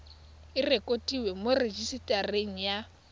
e rekotiwe mo rejisetareng ya